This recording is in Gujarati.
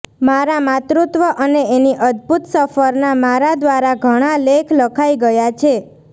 મારા માતૃત્વ અને એની અદ્ભુત સફરના મારા દ્વારા ઘણા લેખ લખાઈ ગયા છે